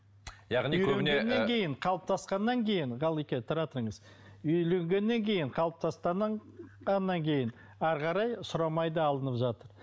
яғни көбіне ы қалыптасқаннан кейін ғалеке тұра тұрыңыз үйленгеннен кейін қалыптасқаннан кейін әрі қарай сұрамай да алынып жатыр